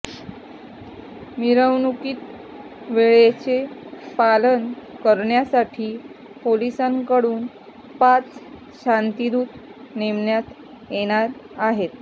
मिरवणुकीत वेळेचे पालन करण्यासाठी पोलिसांकडून पाच शांतिदूत नेमण्यात येणार आहेत